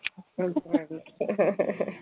ച്ച